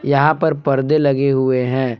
यहां पर पर्दे लगे हुए हैं।